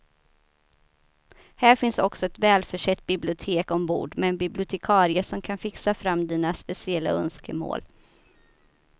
Här finns också ett välförsett bibliotek ombord med en bibliotekarie som kan fixa fram dina speciella önskemål.